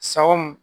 Sa o mun